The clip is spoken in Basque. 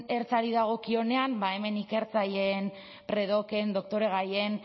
ertzari dagokionean ba hemen ikertzaileen predoken doktoregaien